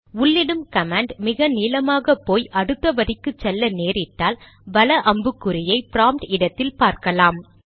உள்ளிடும் command மிக நீளமாக போய் அடுத்த வரிக்கு செல்ல நேரிட்டால் வல அம்புக்குறியை ப்ராம்ப்ட் இடத்தில் பார்க்கலாம்